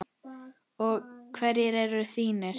Og hverjir eru þínir?